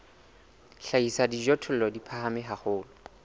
hlahisa dijothollo di phahame haholo